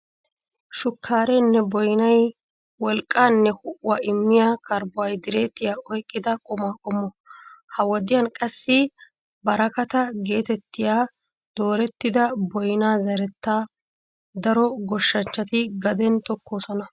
Shukkaareenne boynay wolqqaanne ho'uwaa immiya karbbohaydireetiyaa oyqqida quma qommo. Ha wodiyan qassi barakata geetettiya doorettida boynaa zerettaa daro goshshanchchati gaden tokkoosona.